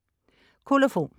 Kolofon